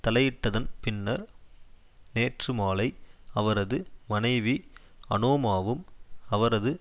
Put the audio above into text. தலையிட்டதன் பின்னர் நேற்று மாலை அவரது மனைவி அனோமாவும் அவரது